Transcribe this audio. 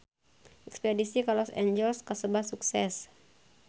Espedisi ka Los Angeles kasebat sukses